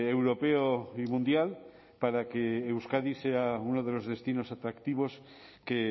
europeo y mundial para que euskadi sea uno de los destinos atractivos que